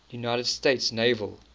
united states naval